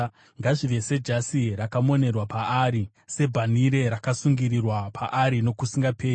Ngazvive sejasi rakamonerwa paari, sebhanhire rakasungirirwa paari nokusingaperi.